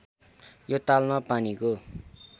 यो तालमा पानीको